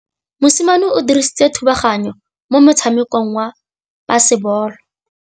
Mosimane o dirile thubaganyô mo motshamekong wa basebôlô.